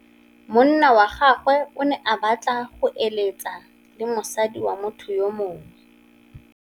Monna wa gagwe o ne a batla go êlêtsa le mosadi wa motho yo mongwe.